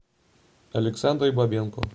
александрой бабенко